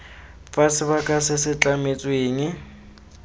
fa sebaka se se tlametsweng